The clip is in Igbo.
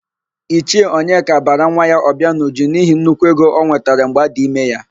Ichie Onyeka bara nwa ya Ọbịanuju n'ihi nnukwu ego ọ nwetara mgbe adị ime ya.